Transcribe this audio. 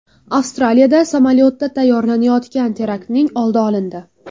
Avstraliyada samolyotda tayyorlanayotgan teraktning oldi olindi.